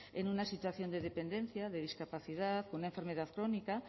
en una situación de dependencia de discapacidad con una enfermedad crónica